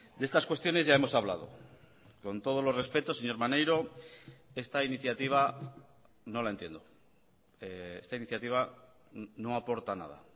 de estas cuestiones ya hemos hablado con todos los respetos señor maneiro esta iniciativa no la entiendo esta iniciativa no aporta nada